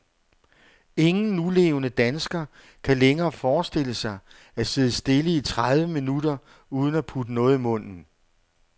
Ingen nulevende dansker kan længere forestille sig at sidde stille i tredive minutter uden at putte noget i munden.